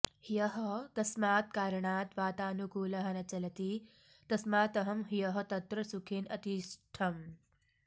ह्यः कस्मात् कारणात् वातानुकूलः न चलति तस्मात् अहं ह्यः तत्र सुखेन अतिष्ठम्